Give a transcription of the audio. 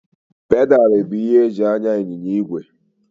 Pedalụ bụ ihe eji anya ịnyịnya igwe.